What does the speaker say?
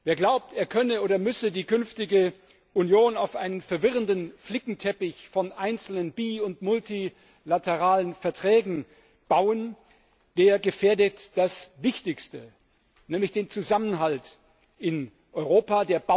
Wer glaubt, er könne oder müsse die künftige Union auf einen verwirrenden Flickenteppich von einzelnen bi und multilateralen Verträgen bauen, der gefährdet das Wichtigste nämlich den Zusammenhalt in Europa